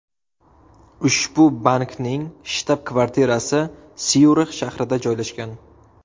Ushbu bankning shtab-kvartirasi Syurix shahrida joylashgan.